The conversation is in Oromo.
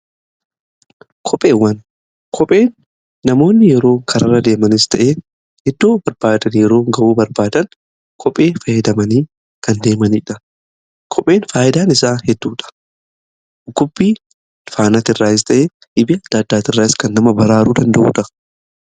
kopheen namoonni yeroo karaa irra deemanis ta'ee iddoo barbaadan yeroo gahuu barbaadan kophee faayyadamanii kan deemaniidha. kopheen faayidaan isaa hedduudha dhukubbii faana irraas ta'ee dhibe addaa addaati irraas kan nama baraaruu danda'uudha.